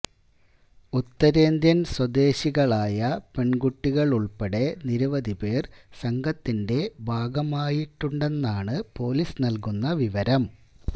ഉത്തരേന്ത്യന് സ്വദേശികളായ പെണ്കുട്ടികളുള്പ്പെടെ നിരവധിപ്പേര് സംഘത്തിന്റെ ഭാഗമായിട്ടുണ്ടെന്നാണ് പൊലീസ് നല്കുന്ന വിവരം